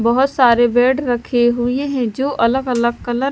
बहुत सारे बेड रखे हुए हैं जो अलग-अलग कलर --